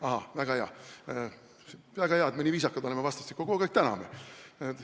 Ahah, väga hea, et me nii viisakad oleme vastastikku, kogu aeg täname!